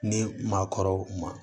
Ni maakɔrɔw ma